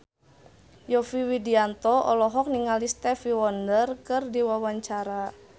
Yovie Widianto olohok ningali Stevie Wonder keur diwawancara